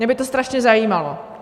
Mě by to strašně zajímalo.